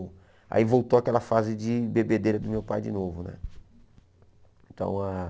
Aí voltou aquela fase de bebedeira do meu pai de novo né. Então ah